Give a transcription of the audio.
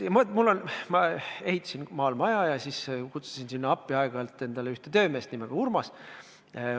Ma ehitasin maal maja ja kutsusin sinna endale aeg-ajalt appi ühe töömehe nimega Urmas.